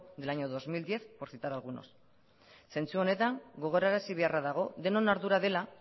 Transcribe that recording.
del año dos mil diez por citar algunos zentzu honetan gogorarazi beharra dago denon ardura dela